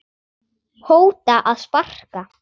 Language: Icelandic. hóta að sparka